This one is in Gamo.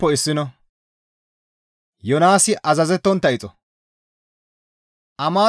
Amaate naa Yoonaasakko GODAA qaalay,